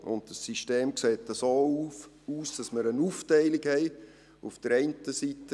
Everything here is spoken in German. Dieses System sieht so aus, dass wir eine Aufteilung haben.